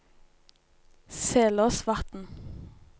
Selåsvatn